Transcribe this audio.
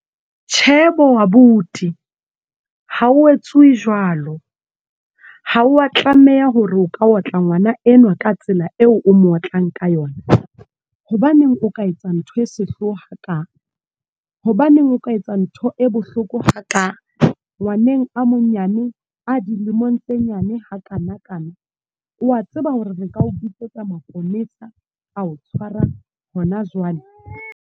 Tjhe bo abuti. Ha ho etswuwi jwalo. Ha wa tlameha hore o ka otla ngwana enwa ka tsela eo o mootlang ka yona. Hobaneng o ka etsa ntho e sehloha ha ka? Hobaneng o ka etsa ntho e bohloko ha ka? Ngwaneng a monyane, a dilemong tse nyane ha kana kana. Wa tseba hore re ka ho bitsetsa maponesa, ao tshwara hona jwale.